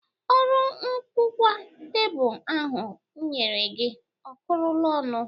Ọrụ nkụkwa tebụl ahụ m nyere gị ọ kụrụla ọnụ